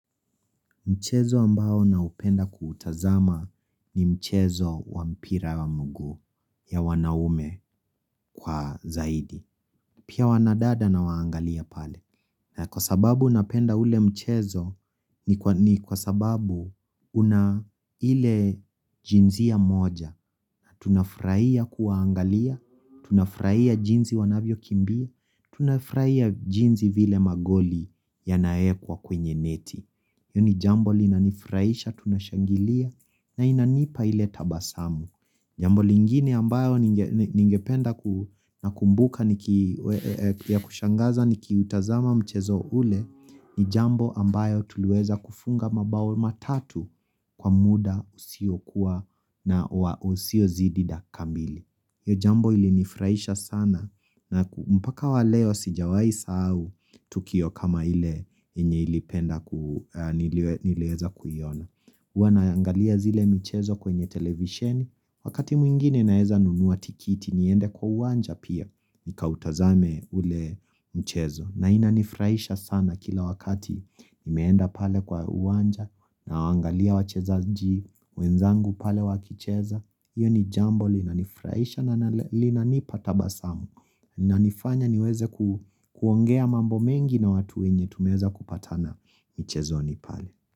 Mchezo ambao naupenda kuutazama ni mchezo wa mpira wa miguu ya wanaume kwa zaidi. Pia wanadada nawaangalia pale. Na kwa sababu napenda ule mchezo ni kwa sababu una ile jinsia moja. Tunafurahia kuwaangalia, tunafurahia jinsi wanavyokimbia, tunafurahia jinsi vile magoli yanawekwa kwenye neti. Hili jambo linanifurahisha tunashangilia na inanipa ile tabasamu. Jambo lingine ambalo ningependa na kukumbuka ya kushangaza nikiutazama mchezo ule ni jambo ambayo tuliweza kufunga mabao matatu kwa muda usio kuwa na usiozidi dakika mbili. Iyo jambo ili nifraisha sana na mpaka wa leo sijawahi sahau tukio kama ile inye ilipenda nileweza kuiona. Huwa naangalia zile mchezo kwenye televisheni. Wakati mwingine naweza nunua tikiti niende kwa uwanja pia nikautazame ule mchezo. Na inanifurahisha sana kila wakati imeenda pale kwa uwanja nawaangalia wacheza ji. Wenzangu pale wakicheza Iyo ni jambo linanifurahisha na linanipa tabasamu Nafanya niweze kuongea mambo mengi na watu wenye Tumeweza kupatana Mchezoni pale.